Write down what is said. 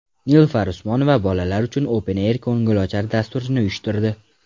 Nilufar Usmonova bolalar uchun Open Air ko‘ngilochar dasturini uyushtirdi .